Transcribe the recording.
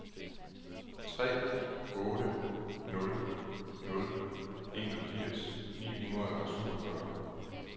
tre otte nul nul enogfirs ni hundrede og syvogfyrre